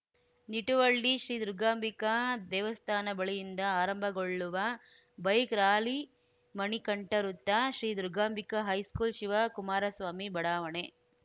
ನಿಟುವಳ್ಳಿ ಶ್ರೀ ದುರ್ಗಾಂಬಿಕಾ ದೇವಸ್ಥಾನ ಬಳಿಯಿಂದ ಆರಂಭಗೊಳ್ಳುವ ಬೈಕ್‌ ರಾಲಿ ಮಣಿಕಂಠ ವೃತ್ತ ಶ್ರೀ ದುರ್ಗಾಂಬಿಕಾ ಹೈಸ್ಕೂಲ್‌ ಶಿವ ಕುಮಾರಸ್ವಾಮಿ ಬಡಾವಣೆ